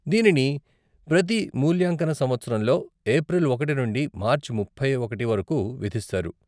దీనిని ప్రతి మూల్యాంకన సంవత్సరంలో ఏప్రిల్ ఒకటి నుండి మార్చి ముప్పై ఒకటి వరకు విధిస్తారు.